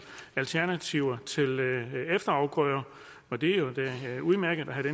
alternativer til efterafgrøder og det er jo da udmærket at have